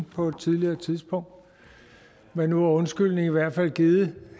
på et tidligere tidspunkt men nu er undskyldningen i hvert fald givet